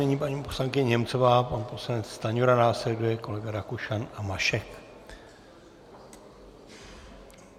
Nyní paní poslankyně Němcová, pan poslanec Stanjura, následuje kolega Rakušan a Mašek.